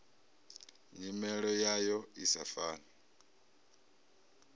nyimele yayo i sa fani